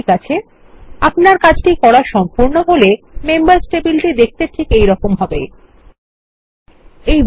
ঠিক আছে আপনার কাজটি করা সম্পূর্ণ হল মেম্বার্স টেবিলটি ঠিক এইরকম দেখতে লাগবে